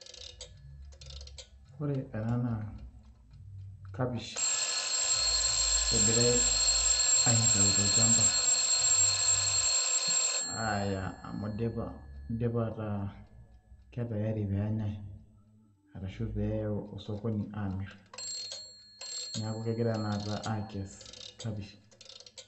Ore ena naa kapish egirai aitayu tolchamba aaya amu idipa, ipa ataa ke tayari pee enya'ai arashu peyie eyaii osokoni aamirr, neeku kegirai tanakata aakess kapish.